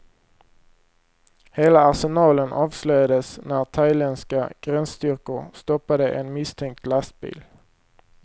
Hela arsenalen avslöjades när thailändska gränsstyrkor stoppade en misstänkt lastbil.